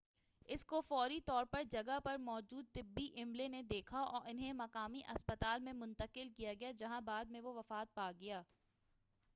اس کو فوری طور پر جگہ پر موجود طبی عملے نے دیکھا اور اُنہیں ایک مقامی ہسپتال میں منتقل کیا گیا جہاں بعد میں وہ وفات پاگیا